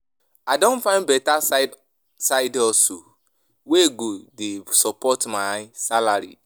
I don find beta side side hustle wey go dey support my salary.